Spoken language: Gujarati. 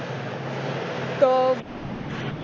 તો